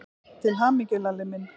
Til hamingju, Lalli minn.